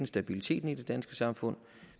stabiliteten i det danske samfund